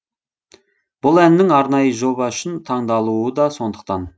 бұл әннің арнайы жоба үшін таңдалуы да сондықтан